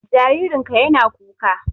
Jaririn ka ya na kuka